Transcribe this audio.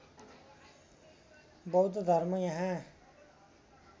बौद्ध धर्म यहाँ